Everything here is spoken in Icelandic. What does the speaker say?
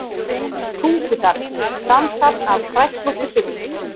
Tungudal, samsafn af kræklóttu birki.